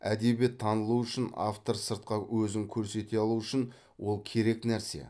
әдебиет танылуы үшін автор сыртқа өзін көрсете алуы үшін ол керек нәрсе